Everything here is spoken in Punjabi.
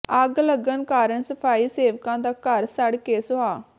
ਅੱਗ ਲੱਗਣ ਕਾਰਨ ਸਫ਼ਾਈ ਸੇਵਕਾ ਦਾ ਘਰ ਸੜ ਕੇ ਸੁਆਹ